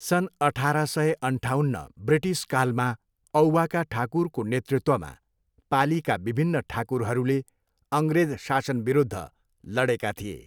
सन् अठार सय अन्ठाउन्न, ब्रिटिसकालमा, औवाका ठाकुरको नेतृत्वमा पालीका विभिन्न ठाकुरहरूले अङ्ग्रेज शासनविरुद्ध लडेका थिए।